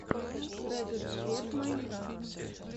трек эксперт майнкрафт